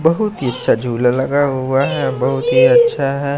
बहुत ही अच्छा झूला लगा हुआ है बहुत ही अच्छा है।